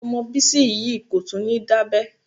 Ọmọ Bísí yìí kò tún ní dábẹ́.